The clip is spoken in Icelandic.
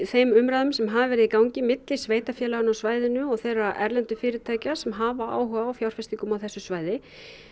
þeim umræðum sem hafa verið í gangi á milli sveitarfélaganna á svæðinu og þeirra erlendu fyrirtækja sem hafa áhuga á fjárfestingum á þessu svæði